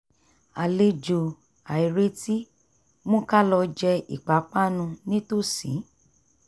àlejò àìretí mú ká lọ jẹ ipápánu nítòsí